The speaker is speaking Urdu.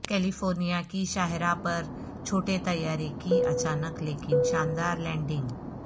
کیلیفورنیا کی شاہراہ پر چھوٹے طیارے کی اچانک لیکن شاندار لینڈنگ